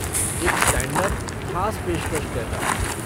एक stand up ख़ास पेशकश जैसा।